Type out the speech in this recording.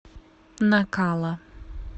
накала